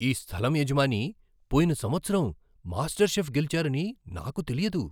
ఈ స్థలం యజమాని పోయిన సంవత్సరం మాస్టర్ షెఫ్ గెలిచారని నాకు తెలియదు!